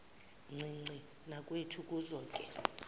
ncinci nakwethu kuzoke